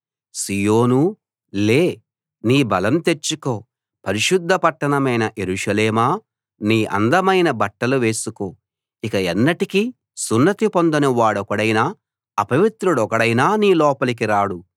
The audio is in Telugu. సీయోనూ లే నీ బలం తెచ్చుకో పరిశుద్ధ పట్టణమైన యెరూషలేమా నీ అందమైన బట్టలు వేసుకో ఇక ఎన్నటికీ సున్నతి పొందని వాడొకడైనా అపవిత్రుడొకడైనా నీ లోపలికి రాడు